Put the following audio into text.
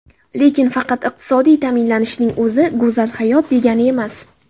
Lekin faqat iqtisodiy ta’minlanishning o‘zi go‘zal hayot degani emas.